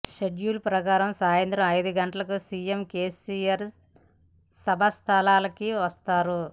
schedule ప్రకారం సాయంత్రం ఐదు గంటలకు సీఎం కేసీఆర్ సభాస్థలికి వస్తారు